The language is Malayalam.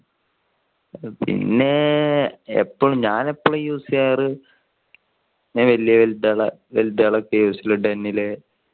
പിന്നെ എപ്പോഴും ഞാൻ എപ്പോഴും use ചെയ്യാറ് ഇങ്ങനെ വെലിതുകൾ ഒക്കെ ആണ് use ചെയോള് .